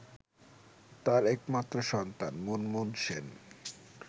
তার একমাত্র সন্তান মুনমুন সেন